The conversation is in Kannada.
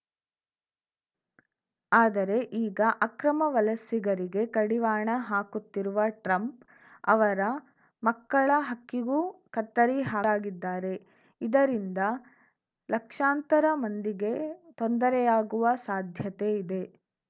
ಅದರೆ ಈಗ ಅಕ್ರಮ ವಲಸಿಗರಿಗೆ ಕಡಿವಾಣ ಹಾಕುತ್ತಿರುವ ಟ್ರಂಪ್‌ ಅವರ ಮಕ್ಕಳ ಹಕ್ಕಿಗೂ ಕತ್ತರಿ ಹಾದ್ದಾರೆ ಇದರಿಂದ ಲಕ್ಷಾಂತರ ಮಂದಿಗೆ ತೊಂದರೆಯಾಗುವ ಸಾಧ್ಯತೆ ಇದೆ